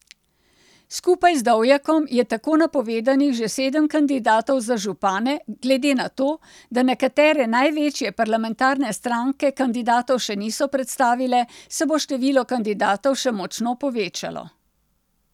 Skupaj z Dovjakom je tako napovedanih že sedem kandidatov za župane, glede na to, da nekatere največje parlamentarne stranke kandidatov še niso predstavile, se bo število kandidatov še močno povečalo.